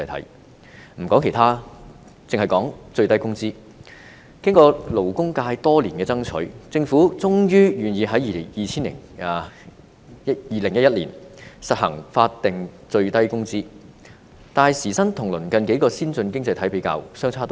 先不說其他，單以最低工資而言，經過勞工界多年爭取，政府終於願意在2011年實行法定最低工資，但時薪跟鄰近數個先進經濟體比較，相差頗遠。